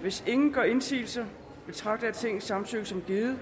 hvis ingen gør indsigelse betragter jeg tingets samtykket som givet